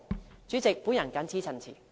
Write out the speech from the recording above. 代理主席，我謹此陳辭。